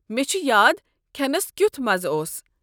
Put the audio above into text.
مےٚ چھ یاد کھٮ۪نس کیُوتھ مزٕ اوس ۔